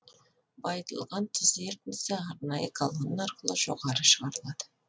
байытылған тұз ертіндісі арнайы колонна арқылы жоғары шығарылады